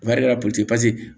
Baarakɛra